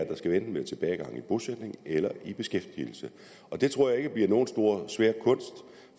der skal enten være tilbagegang i bosætning eller tilbagegang i beskæftigelse og det tror jeg ikke bliver nogen svær kunst